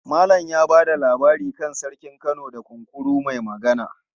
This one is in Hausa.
Malam ya ba da labari kan Sarkin Kano da Kunkuru mai Magana.